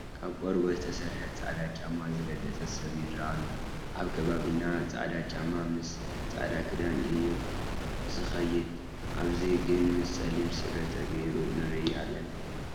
ካብ ቆርበት ዝተሰርሐ ፃዕዳ ጫማ ዝረገፀ ሰብ ይርአ ኣሎ፡፡ ኣብ ከባቢና ፃዕዳ ጫማ ምስ ፃዕዳ ክዳን እዩ ዝኸይድ፡፡ ኣብዚ ግን ምስ ፀሊም ስረ ተገይሩ ንርኢ ኣለና፡፡